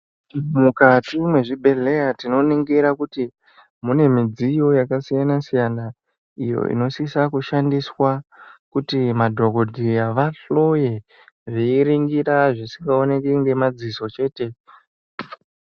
Mukati mezvi bhedhleya tino ningira kuti mune midziyo yaka siyana siyana iyo ino shisa kushandiswa kuti madhokoteya vadhloye veiningira zvisingaoneki nema dziso chete.